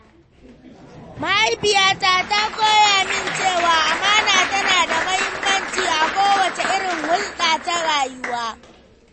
Mahaifiyata ta koya min cewa amana tana da mahimmanci a kowace irin hulɗa ta rayuwa..